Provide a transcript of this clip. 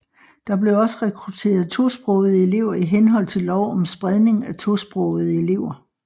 Der bliver også rekruteret tosprogede elever i henhold til lov om spredning af tosprogede elever